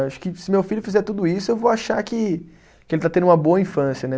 Acho que se meu filho fizer tudo isso, eu vou achar que, que ele está tendo uma boa infância, né?